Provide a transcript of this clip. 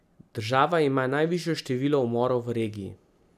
Država ima najvišje število umorov v regiji.